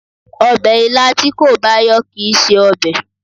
Ọbẹ̀ ilá tí kò bá yọ̀ kìí ṣe ọbẹ̀